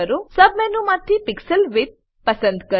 સબ મેનુમાંથી pixel width પસંદ કરો